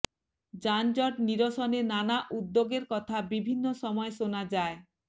যানজট নিরসনে নানা উদ্যোগের কথা বিভিন্ন সময় শোনা যায়